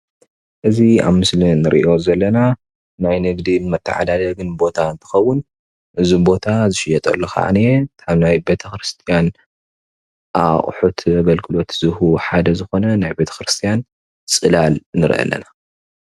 እዚ ኣብ ምስሊ እንሪኦ ዘለና ናይ ንግዲ መተዓዳደጊ ቦታ እንትከውን እዚ ቦታ ዝሽየጠሉ ከዓኒ ኣብ ናይ ቤተ-ክርስትያን ኣቁሑት አገልግሎት ሓደ ዝኾነ ናይ ቤተ ከርስቲያን ፅላል ንሪኢ ኣላና፡፡